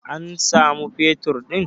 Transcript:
an samu fetur din!